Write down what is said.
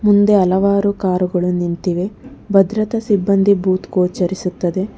ಮುಂದೆ ಹಲವಾರು ಕಾರುಗಳು ನಿಂತಿವೆ ಭದ್ರತಾ ಸಿಬ್ಬಂದಿ ಭೂತ್ ಗೋಚರಿಸುತ್ತದೆ.